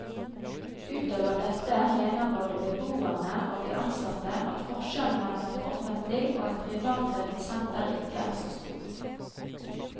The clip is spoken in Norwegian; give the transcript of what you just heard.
Utover dette mener både beboerne og de ansatte at forskjellen mellom et offentlig og et privatdrevet senter ikke er så stor.